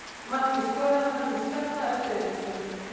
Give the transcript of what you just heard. Markið skoraði hann með skalla eftir aukaspyrnu.